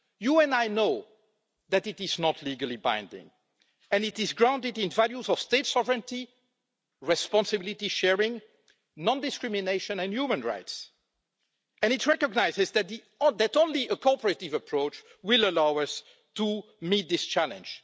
You and I know that it is not legally binding and that it is grounded in values of state sovereignty, responsibility sharing, non discrimination and human rights, and it recognise that only a cooperative approach will allow us to meet this challenge.